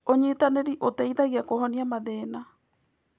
ũnyitanĩri ũteithagia kũhonia mathĩna.